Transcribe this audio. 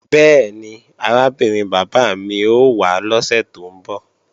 Bẹ́ẹ̀ni, arábìnrin bàbá mi ó wá lọ́sè tó ń bọ̀